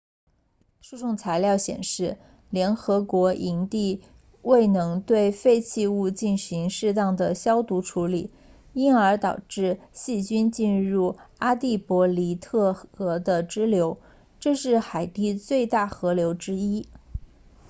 诉讼材料显示联合国营地未能对废弃物进行适当的消毒处理因而导致细菌进入阿蒂博尼特河的支流这是海地最大河流之一